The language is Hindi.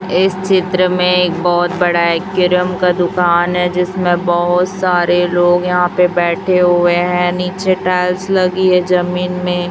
इस चित्र में एक बहुत बड़ा एकेरियम का दुकान है जिसमें बहुत सारे लोग यहां पे बैठे हुए हैं नीचे टाइल्स लगी है जमीन में।